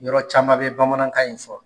Yɔrɔ caman bɛ bamanankan in fɔ